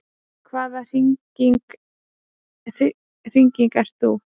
Hvaða hringing ert þú?